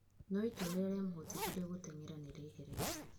No itua rĩrĩa rĩamũhotithirie gũteng'era nĩ rĩeheretio.